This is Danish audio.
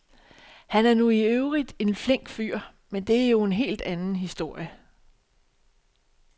Han er nu i øvrigt en flink fyr, men det er jo en helt anden historie.